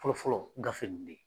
Fɔlɔ fɔlɔ gafe kun bɛ yen